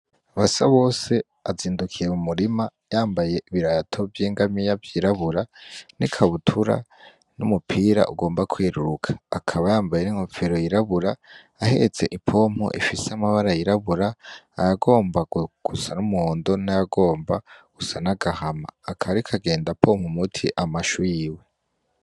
Basabose azindukiye mu murima yambaye ibirato vy'ingamiya vyirabura n'ikabutura n'umupira ugomba kweruruka, akaba yambaye n'inkofero yirabura ahetse ipompu ifise amabara yirabura ayagomba gusa n'umuhondo, n'ayagomba gusa n'agahama akaba ariko agenda apompa umuti amashu yiwe.